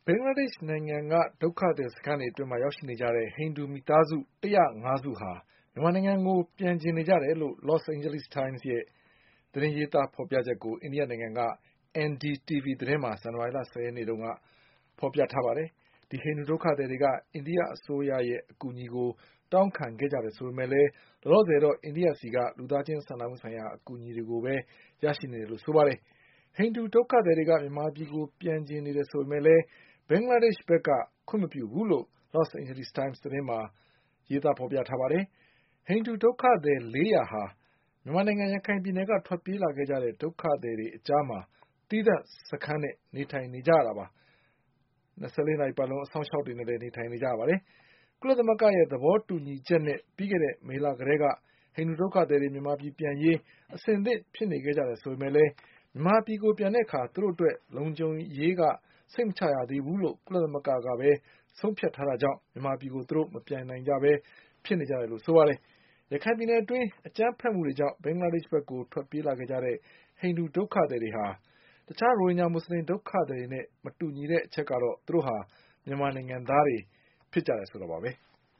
င်္ဂလားဒေ့ရှ်နိုင်ငံက ဒုက္ခသည်စခန်းတွေအတွင်းရောက်ရှိနေကြတဲ့ ဟိန္ဒူမိသားစု ၁၀၅စုဟာ မြန်မာနိုင်ငံကိုပြန်ချင်နေ ကြတယ်လို့ Los Angeles Times သတင်းရဲ့ရေးသားချက်ကို အိန္ဒိယနိုင်ငံက NDTV သတင်းမှာ ဇန်နဝါရီလ၁၀ရက်နေ့ ကဖေါ်ပြထားပါတယ်။ ဒီဟိန္ဒူဒုက္ခသည်တွေက အိန္ဒိယအစိုးရရဲ့အကူအညီကိုတောင်းခံခဲ့ကြတယ်ဆိုပေမဲ့လည်း လော လောဆယ်တော့ အိန္ဒိယဆီက လူသားချင်းစာနာမှုဆိုင်ရာအကူအညီတွေပါရရှိနေတယ်လို့ဆိုပါတယ်။ ဟိန္ဒူဒုက္ခသည် တွေက မြန်မာပြည်ကိုပြန်ချင်နေတယ်ဆိုပေမဲ့ ဘင်္ဂလားဒေ့ရှ့်ဘက်က ခွင့်မပြုဘူးလို့ Los Angeles Times သတင်းမှာ ရေးသားထားပါတယ်။ ဟိန္ဒူဒုက္ခသည်လေးရာဟာ မြန်မာနိုင်ငံရခိုင်ပြည်နယ်က ထွက်ပြေးလာခဲ့ကြတဲ့ဒုက္ခသည်တွေ အကြားမှာ သီးသန့်စခန်းနဲ့နေထိုင်နေကြတာပါ။ကုလသမဂ္ဂရဲ့ သဘောတူညီချက်နဲ့ ပြီးခဲ့တဲ့နှစ်မေလကတည်းက ဟိန္ဒူ ဒုက္ခသည်တွေမြန်မာပြည်ပြန်ရေး အဆင်သင့်ဖြစ်နေခဲ့တယ်ဆိုပေမဲ့လည်း မြန်မာပြည်ကိုပြန်တဲ့အခါသူတို့ အတွက်လုံခြုံ ရေးအရ စိတ်မချရသေးဘူးလို့ ကုလသမဂ္ဂကဆုံးဖြတ်ထားတာကြောင့် မြန်မာပြည်မပြန်နိုင်ပဲဖြစ်နေကြတယ်လို့ဆိုပါ တယ်။ ရခိုင်ပြည်နယ်အတွင်းအကြမ်းဘက်မှုတွေကြောင့် ဘင်္ဂလားဒေ့ရှ်ဘက်ကိုထွက်ပြေးလာခဲ့ကြတဲ့ ဟိန္ဒူဒုက္ခသည် တွေဟာ ရိုဟင်ဂျာမူဆလင်ဒုက္ခသည်တွေနဲ့မတူညီတာကတော့ သူတို့ဟာမြန်မာနိုင်ငံသားတွေဖြစ်ကြတယ်ဆိုတာပါပဲ။